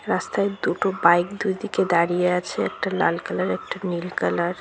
রাস্তায় দুটো বাইক দুই দিকে দাঁড়িয়ে আছে একটা লাল কালার একটা নীল কালার ।